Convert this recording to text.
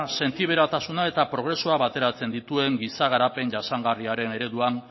sentiberatasuna eta progresua bateratzen dituen giza garapen jasangarriaren ereduan